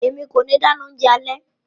Emi ko ti dáná oúnjẹ alẹ́.